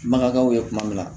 Bakaw ye kuma min na